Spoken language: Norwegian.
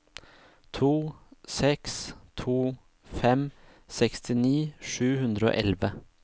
to seks to fem sekstini sju hundre og elleve